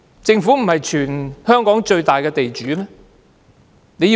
政府不是全港最大的地主嗎？